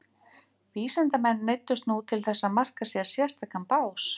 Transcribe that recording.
Vísindamenn neyddust nú til þess að marka sér sérstakan bás.